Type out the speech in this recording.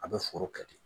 A bɛ foro kɛ ten